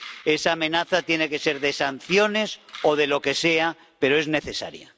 Esa amenaza tiene que ser de sanciones o de lo que sea, pero es necesaria.